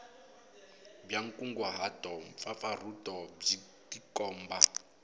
bya nkunguhato mpfapfarhuto byi tikomba